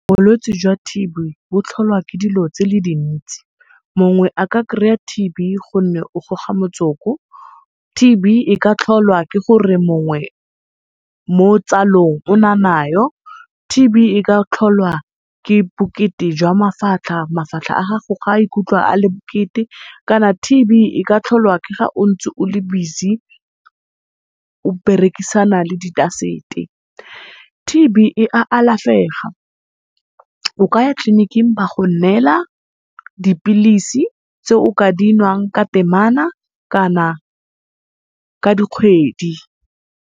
Bolwetse jwa T_B bo tlholwa ke dilo tse dintsi. Mongwe a ka kry-a T_B gonne o goga motsoko. T_B e ka tlholwa ke gore mongwe mo tsalong o na nayo, T_B e ka tlholwa ke bokete jwa mafatlha. Mafatlha a gago ga a ikutlwa a le bokete, kana T_B e ka tlholwa ke ga o ntse o le busy o berekisana le di dust-e. T_B e a alafega, o ka ya tleliniking ba go neela dipilisi tse o ka dinwang ka temana kana ka dikgwedi.